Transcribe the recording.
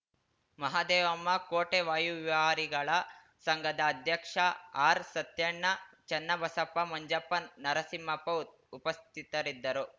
ಮಹದೇವಮ್ಮ ಕೋಟೆ ವಾಯುವಿಹಾರಿಗಳ ಸಂಘದ ಅಧ್ಯಕ್ಷ ಆರ್‌ಸತ್ಯಣ್ಣ ಚನ್ನಬಸಪ್ಪ ಮಂಜಪ್ಪ ನರಸಿಂಹಪ್ಪ ಉಪಸ್ಥಿತರಿದ್ದರು